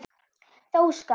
þó skammt.